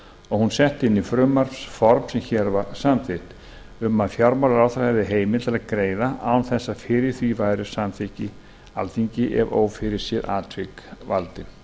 og hún sett inn í frumvarpsform sem hér var samþykkt um að fjármálaráðherra hefði heimild til að greiða án þess að fyrir því væri samþykki alþingis ef ófyrirséð atvik valdi